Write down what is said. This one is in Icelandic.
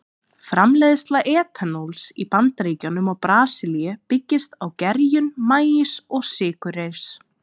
Framleiðsla etanóls í Bandaríkjunum og Brasilíu byggist á gerjun maís og sykurreyrs.